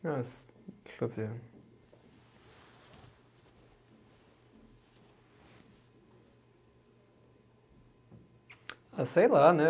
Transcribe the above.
Deixa eu ver. Ah, sei lá, né?